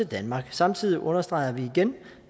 danmark samtidig understreger vi igen